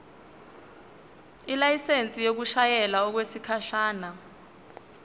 ilayisensi yokushayela okwesikhashana